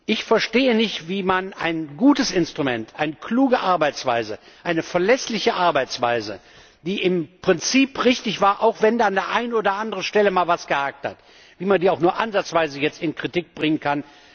Ich verstehe nicht, wie man ein gutes Instrument, eine kluge Arbeitsweise, eine verlässliche Arbeitsweise, die im Prinzip richtig war, auch wenn an der einen oder anderen Stelle mal etwas gehakt hat, auch nur ansatzweise jetzt in Kritik bringen kann.